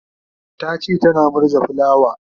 tace tana murza fulawa